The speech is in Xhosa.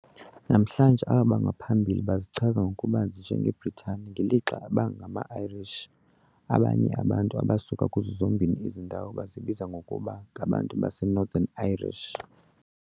Namhlanje, abo bangaphambili bazichaza ngokubanzi njengeBritane, ngelixa aba bangama-Irish, abanye abantu abasuka kuzo zombini ezi ndawo bazibiza ngokuba ngabantu baseNorthern Irish.